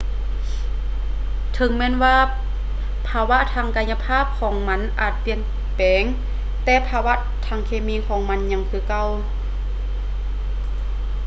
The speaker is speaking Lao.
ເຖິງແມ່ນວ່າພາວະທາງກາຍະພາບຂອງມັນອາດຈະປ່ຽນແປງ ແຕ່ພາວະທາງເຄມີຂອງມັນຍັງຄືເກົ່າ